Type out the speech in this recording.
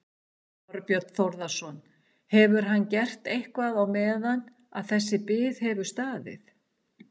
Þorbjörn Þórðarson: Hefur hann gert eitthvað á meðan að þessi bið hefur staðið?